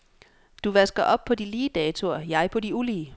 Du vasker op på de lige datoer, jeg på de ulige.